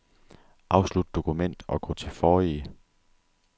Afslut dokument og gå til forrige.